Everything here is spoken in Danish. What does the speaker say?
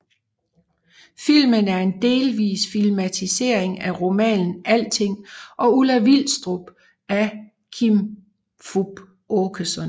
Filmen er en delvis filmatisering af romanen Alting og Ulla Vilstrup af Kim Fupz Aakeson